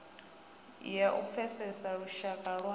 ya u pfesesa lushaka lwa